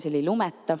See oli "Lumeta".